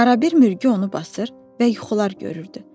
Arada bir mürgü onu basır və yuxular görürdü.